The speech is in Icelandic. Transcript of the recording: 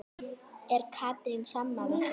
Er Katrín sammála því?